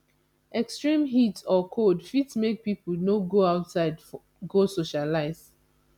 extreme heat or cold fit make pipo no go outside go socialize